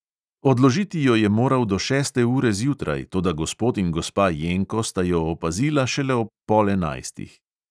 "Odložiti jo je moral do šeste ure zjutraj, toda gospod in gospa jenko sta jo opazila šele ob pol enajstih."